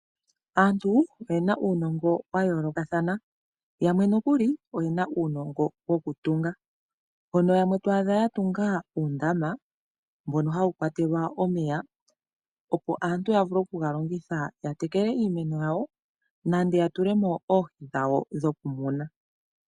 Aantu oye na uunongo wa yoolokathana. Yamwe nokuli oye na uunono wokutunga, mono yamwe to adha ya tunga uundama mbono hawu kwatelwa omeya opo aantu ya vule okuga longitha ya tekele iimeno yawo, nande ya tule mo oohi dhawo dhokumuna.